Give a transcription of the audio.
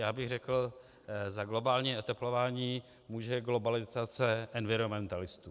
Já bych řekl, za globální oteplování může globalizace environmentalistů.